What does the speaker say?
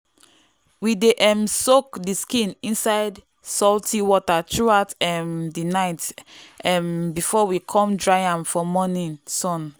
we dey um soak the skin inside salty water throughout um the night um before we come dry am for morning sun.